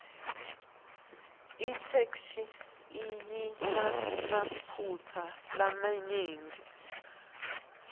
itheksthi ayinamaphutsa lamanyenti